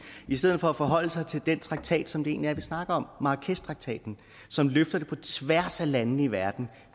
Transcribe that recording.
i stedet for at forholde sig til den traktat som vi egentlig snakker om marrakeshtraktaten som løfter på tværs af landene i verden